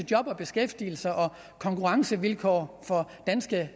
job og beskæftigelse og konkurrencevilkår for danske